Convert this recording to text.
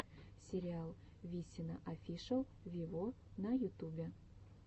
сериал висина офишел виво на ютубе